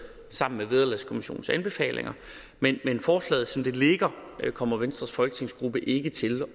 sammen med vederlagskommissionens anbefalinger men forslaget som det ligger kommer venstres folketingsgruppe ikke til